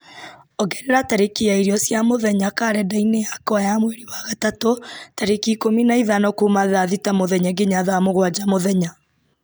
ongerera tarĩki ya irio cia mũthenya karenda-inĩ yakwa ya mweri wa gatatũ tarĩki ikũmi na ithano kuma thaa thita mũthenya nginya thaa mũgwanja mũthenya